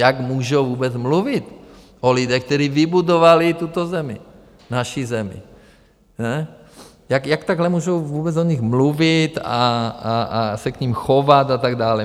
Jak můžou vůbec mluvit o lidech, kteří vybudovali tuto zemi, naši zemi, jak takhle můžou vůbec o nich mluvit a se k nim chovat a tak dále?